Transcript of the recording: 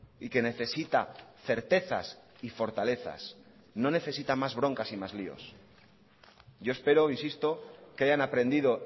y que necesita certezas y fortalezas no necesita más broncas y más líos yo espero insisto que hayan aprendido